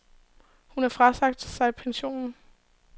Hun har frasagt sig pensionen.